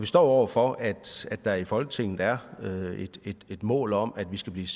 står over for at der i folketinget er et mål om at vi skal blive